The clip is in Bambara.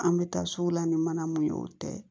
An bɛ taa sugu la ni mana mun ye o tɛ